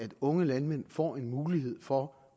unge landmænd får en mulighed for